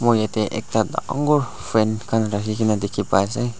jatte ekta dagur fan khan rakhi kina dekhi pai ase.